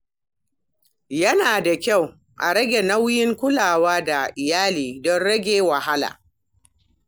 Yana da kyau a raba nauyin kulawa da iyali don rage wahala.